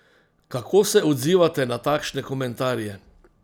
Kako se odzivate na takšne komentarje?